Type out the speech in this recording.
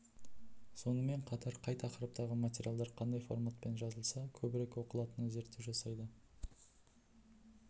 сонымен қатар қай тақырыптағы материалдар қандай форматпен жазылса көбірек оқылатынына зерттеу жасайды